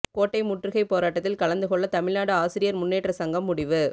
கோட்டை முற்றுகை போராட்டத்தில் கலந்துகொள்ள தமிழ்நாடு ஆசிரியர் முன்னேற்ற சங்கம் முடிவு